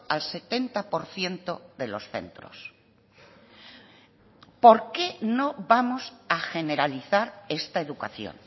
al setenta por ciento de los centros por qué no vamos a generalizar esta educación